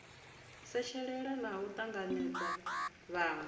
setshelela na u tanganedza vhanwe